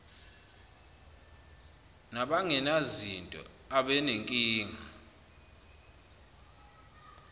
naban genazinto abanenkinga